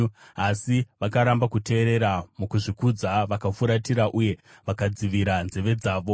“Asi vakaramba kuteerera; mukuzvikudza vakafuratira uye vakadzivira nzeve dzavo.